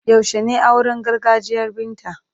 Yaushe ne auren gargajiyan Binta?